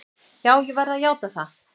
Já, ég verð að játa það.